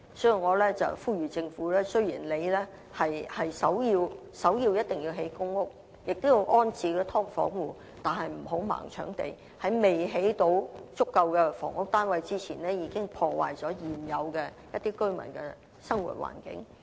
所以，我呼籲政府，雖然首要工作一定是興建公屋，並要安置"劏房戶"，但不要"盲搶地"，在未能興建足夠房屋單位前，已破壞了現有的居民的生活環境。